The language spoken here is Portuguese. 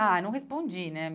Ah, não respondi, né?